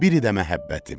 biri də məhəbbətim.